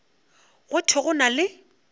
go thwe go na le